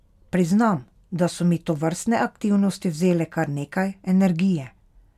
Priznam, da so mi tovrstne aktivnosti vzele kar nekaj energije.